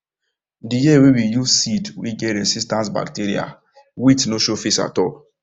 the year wey we use seed wey get resistance bacterial wilt no show face at all